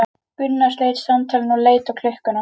Gunnar sleit samtalinu og leit á klukkuna.